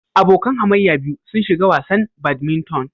Abokan hamayya biyu sun shiga wasan badminton.